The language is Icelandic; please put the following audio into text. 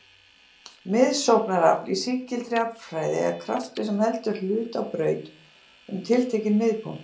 Miðsóknarafl í sígildri aflfræði er kraftur sem heldur hlut á braut um tiltekinn miðpunkt.